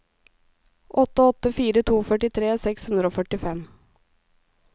åtte åtte fire to førtitre seks hundre og førtifem